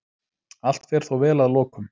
Allt fer þó vel að lokum.